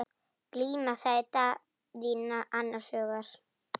Glíma, sagði Daðína annars hugar.